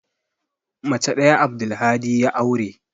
Mace ɗaya Abdulhadi ya aure.